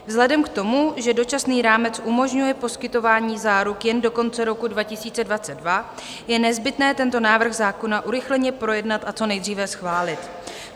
Vzhledem k tomu, že Dočasný rámec umožňuje poskytování záruk jen do konce roku 2022, je nezbytné tento návrh zákona urychleně projednat a co nejdříve schválit.